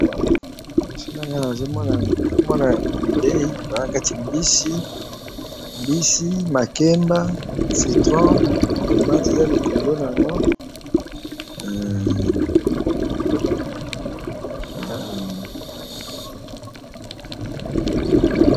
Nazomona awa na sani mbisi, makemba, citron...